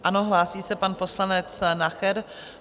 Ano, hlásí se pan poslanec Nacher.